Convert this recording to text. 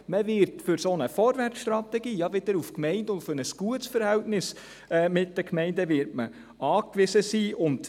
Man wird für eine solche Vorwärtsstrategie ja wieder auf ein gutes Verhältnis mit den Gemeinden angewiesen sein.